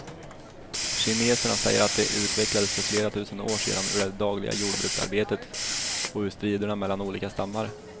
Kineserna säger att de utvecklades för flera tusen år sedan ur det dagliga jordbruksarbetet och ur striderna mellan olika stammar.